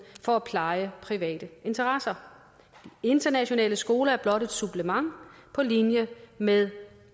for at pleje private interesser internationale skoler er blot et supplement på linje med